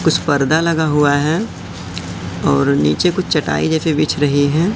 कुछ पर्दा लगा हुआ है और नीचे कुछ चटाई जैसी बिछ रही है।